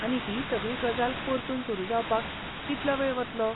आनी ही सगळी गजाल परतून सुरू जावपाक कितलो वेळ वतलो?